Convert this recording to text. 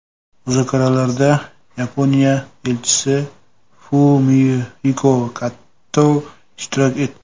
Muzokaralarda Yaponiya Elchisi Fumihiko Kato ishtirok etdi.